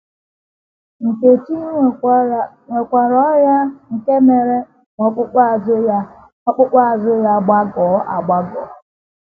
Nkechi nwekwara ọrịa nke mere ka ọkpụkpụ azụ ya ọkpụkpụ azụ ya gbagọọ agbagọọ.